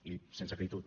i sense acritud